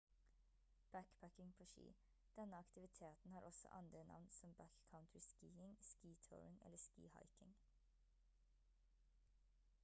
backpacking på ski denne aktiviteten har også andre navn som backcountry skiing ski touring eller ski hiking